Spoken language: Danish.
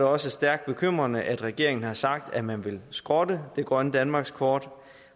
også stærkt bekymrende at regeringen har sagt at man vil skrotte grønt danmarkskort